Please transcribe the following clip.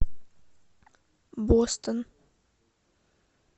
бостон